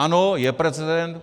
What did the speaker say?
Ano, je precedent.